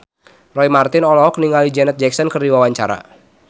Roy Marten olohok ningali Janet Jackson keur diwawancara